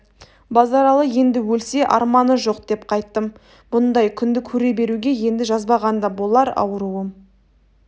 базаралы енді өлсе арманы жоқ деп қайттым бұндай күнді көре беруге енді жазбаған да болар ауруым